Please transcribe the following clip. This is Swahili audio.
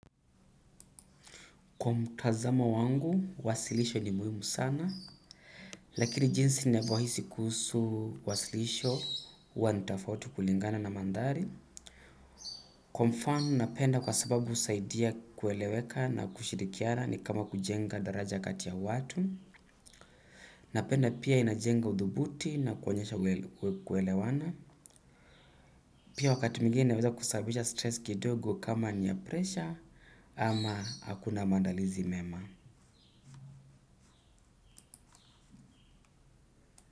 Kwa mtazamo wangu, wasilisho ni muhimu sana, lakini jinsi navyohisi kuhusu wasilisho huwa ni tofauti kulingana na mandhari. Kwa mfano napenda kwa sababu husaidia kueleweka na kushirikiana ni kama kujenga daraja kati ya watu. Napenda pia inajenga uthubuti na kuonyesha pia kuelewana. Pia wakati mwingine inaweza kusababisha stress kidogo kama ni ya pressure ama hakuna maandalizi mema.